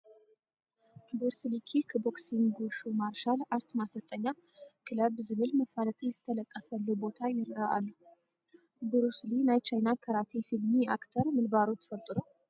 ቡርስሊ ኪክ ቦክሲንግ ውሹ ማርሻል ኣርት ማሰልጠኛ ክለብ ዝብል መፋለጢ ዝተለጠፈሉ ቦታ ይርአ ኣሎ፡፡ ቡሩስሊ ናይ ቻይና ካራቴ ፊልም ኣክተር ምንባሩ ትፈልጡ ዶ?